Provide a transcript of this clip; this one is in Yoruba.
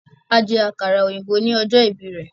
A jẹ àkàrà òyìnbó ní ọjọ́ ìbí rẹ̀